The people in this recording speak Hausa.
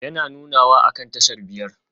Yana nunawa akan tashar biyar?